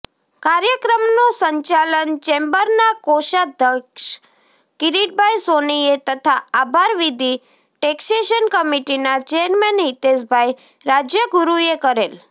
કાર્યક્રમનું સંચાલન ચેમ્બરના કોષાધ્યક્ષ કીરીટભાઈ સોનીએ તથા આભારવિધી ટેક્ષેશન કમીટીના ચેરમેન હીતેષભાઈ રાજ્યગુરૂએ કરેલ